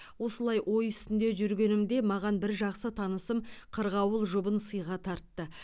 осылай ой үстінде жүргенімде маған бір жақсы танысым қырғауыл жұбын сыйға тартты